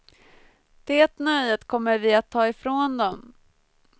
Det nöjet kommer vi att ta ifrån dem.